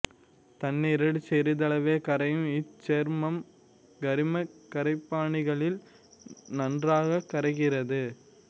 தண்ணிரில் சிறிதளவே கரையும் இச்சேர்மம் கரிமக் கரைப்பான்களில் நன்றாகக் கரைகிறது